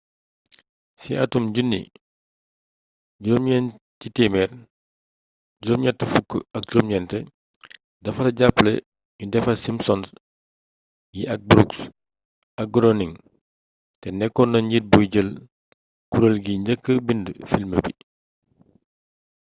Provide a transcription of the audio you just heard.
ci atum 1989 dafa jàppale nu defar simpsons yi ak brooks ak groening te nekkoon na njiit buy jël kureel gi njëkka bind film bi